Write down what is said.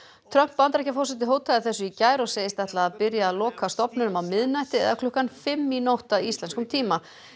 Trump Bandaríkjaforseti hótaði þessu í gær og segist ætla að byrja að loka stofnunum á miðnætti eða klukkan fimm í nótt að íslenskum tíma